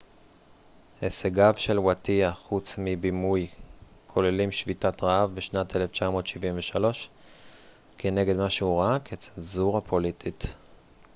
הישגיו של ווטייה חוץ מבימוי כוללים שביתת רעב בשנת 1973 כנגד מה שהוא ראה כצנזורה פוליטית